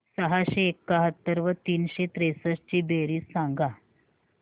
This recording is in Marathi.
सहाशे एकाहत्तर व तीनशे त्रेसष्ट ची बेरीज सांगा